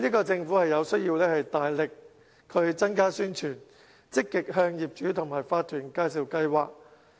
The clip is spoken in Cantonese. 政府就此有需要大力增加宣傳，積極向業主和法團介紹計劃。